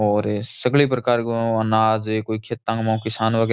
और सगले प्रकार गो अनाज कोई खेतां मू किसान वगैरा --